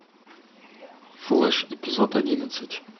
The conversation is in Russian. флэш эпизод одиннадцать